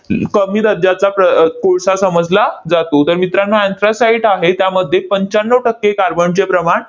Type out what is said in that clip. कमी दर्जाचा प्र अह कोळसा समजला जातो. तर मित्रांनो, anthracite आहे, त्यामध्ये पंच्याण्णव टक्के कार्बनचे प्रमाण